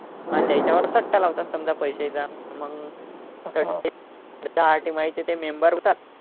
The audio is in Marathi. आणि त्याच्यावर सट्टा लावतात समजा पैसे मग ते member होतात